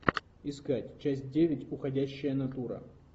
искать часть девять уходящая натура